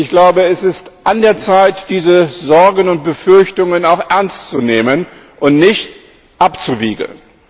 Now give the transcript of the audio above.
Ich glaube, es ist an der Zeit, diese Sorgen und Befürchtungen auch ernst zu nehmen und nicht abzuwiegeln.